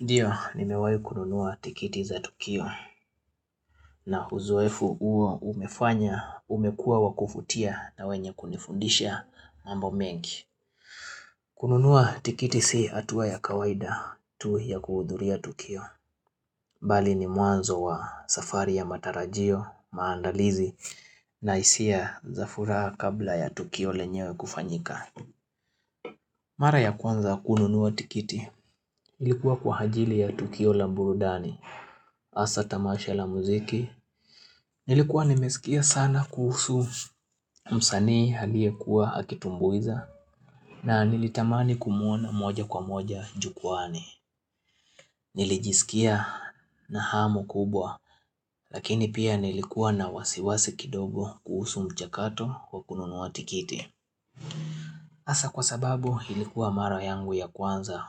Ndiyo, nimewahi kununua tikiti za tukio, na uzeofu uo umefanya umekua wa kuvutia na wenye kunifundisha mambo mengi. Kununuwa tikiti si atuwa ya kawaida tu ya kuhudhuria tukio. Bali ni mwanzo wa safari ya matarajio maandalizi na hisia za furaha kabla ya tukio lenyewe kufanyika. Mara ya kwanza kununuwa tikiti ilikuwa kwa hajili ya tukio la Mburudani. Asa tamasha la muziki, nilikuwa nimesikia sana kuhusu msanii haliye kuwa akitumbuiza na nilitamani kumuona moja kwa moja jukuwaani. Nilijisikia na hamu kubwa lakini pia nilikuwa na wasiwasi kidogo kuhusu mchakato wa kununuwa tikiti. Asa kwa sababu ilikuwa mara yangu ya kwanza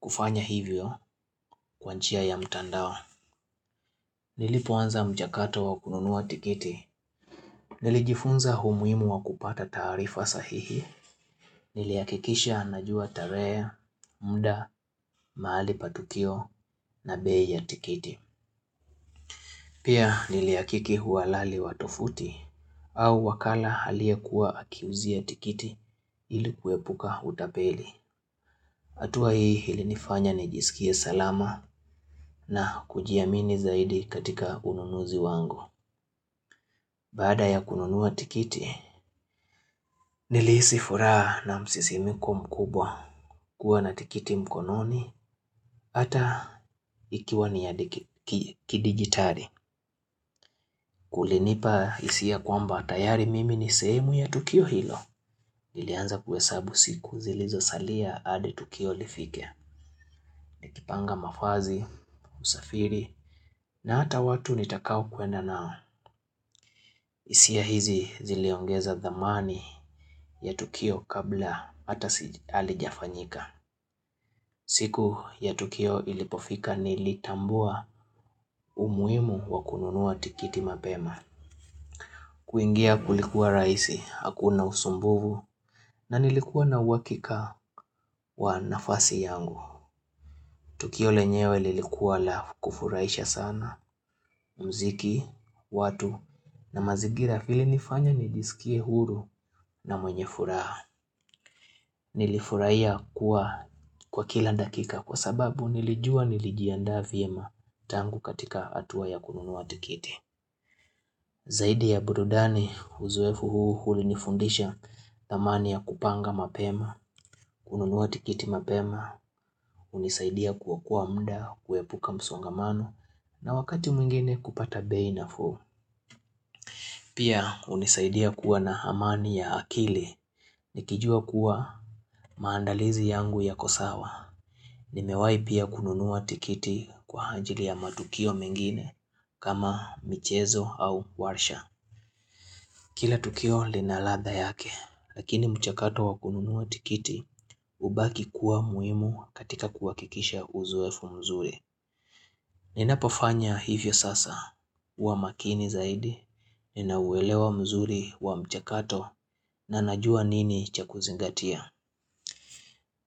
kufanya hivyo kwa njia ya mtandao. Nilipoanza mchakato wa kununuwa tikiti, nilijifunza umuhimu wa kupata taarifa sahihi, nilihakikisha najua tarehe, mda, mahali pa tukio na bei ya tikiti. Pia niliyakiki huwalali watyufuti au wakala aliyekuwa akiuzia tikiti ili kuepuka utapeli. Hatua hii ilinifanya ni jisikie salama na kujiamini zaidi katika ununuzi wangu. Bada ya kununua tikiti, nilihisi furaha na msisimiko mkubwa kuwa na tikiti mkononi ata ikiwa ni ya diki kidigitari. Kulinipa hisia kwamba tayari mimi ni sehemu ya tukio hilo. Nilianza kuhesabu siku zilizosalia adi tukio lifike. Nikipanga mavazi, usafiri, na hata watu nitakao kwenda nao, hisia hizi ziliongeza dhamani ya tukio kabla hata si halija fanyika. Siku ya tukio ilipofika nilitambua umuhimu wa kununuwa tikiti mapema. Kuingia kulikuwa rahisi, hakuna usumbuvu, na nilikuwa na uhakika wa nafasi yangu. Tukio lenyewe lilikuwa la kufuraisha sana muziki, watu na mazingira ilinifanya nijisikie huru na mwenye furaha. Nilifurahia kuwa kwa kila dakika kwa sababu nilijua nilijiandaa vyema tangu katika hatuwa ya kununuwa tikiti. Zaidi ya burudani uzoefu huu huli nifundisha thamani ya kupanga mapema, kununuwa tikiti mapema, hunisaidia kuokoa mda kuepuka msongamano na wakati mwingine kupata bei nafuu. Pia hunisaidia kuwa na hamani ya akili ni kijua kuwa maandalizi yangu yako sawa. Nimewai pia kununuwa tikiti kwa hanjili ya matukio mengine kama michezo au warsha. Kila tukio lina ladha yake, lakini mchakato wakununua tikiti hubaki kuwa muhimu katika kuwakikisha uzoefu mzuri. Ninapofanya hivyo sasa huwa makini zaidi, nina uwelewa mzuri wa mchakato na najua nini cha kuzingatia.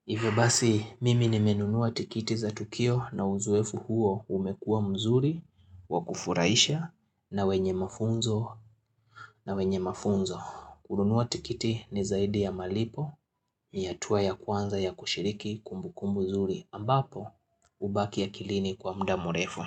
Hivyo basi, mimi nimenunua tikiti za tukio na uzoefu huo umekua mzuri, wakufurahisha, na wenye mafunzo, na wenye mafunzo. Kununua tikiti ni zaidi ya malipo ni hatua ya kwanza ya kushiriki kumbu kumbu nzuri ambapo hubaki akilini kwa mda mrefu.